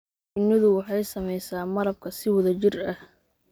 Shinnidu waxay samaysaa malabka si wada jir ah.